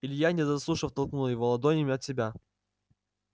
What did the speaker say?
илья не дослушав толкнул его ладонями от себя